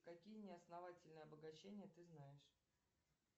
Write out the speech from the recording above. какие неосновательные обогащения ты знаешь